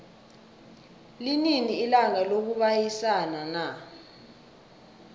linini ilanga lokubayisana na